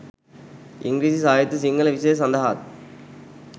ඉංග්‍රීසි සාහිත්‍ය සිංහල විෂය සඳහාත්